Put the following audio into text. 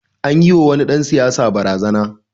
An yiwa wani dan siyasa barazana.